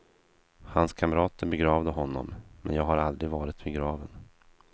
Hans kamrater begravde honom, men jag har aldrig varit vid graven.